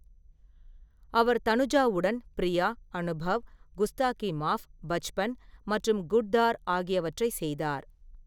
அவர் தனுஜாவுடன் பிரியா, அனுபவ், குஸ்தாகி மாஃப், பச்பன் மற்றும் குட்-தார் ஆகியவற்றைச் செய்தார்.